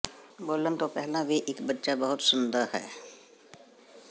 ਬੋਲਣ ਤੋਂ ਪਹਿਲਾਂ ਵੀ ਇੱਕ ਬੱਚਾ ਬਹੁਤ ਸੁਣਦਾ ਹੈ